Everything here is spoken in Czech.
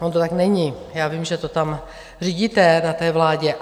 Ono to tak není, já vím, že to tam řídíte na té vládě.